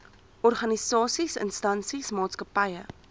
organisasies instansies maatskappye